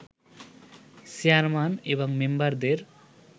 chairman এবং মেম্বারদের